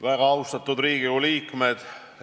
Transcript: Väga austatud Riigikogu liikmed!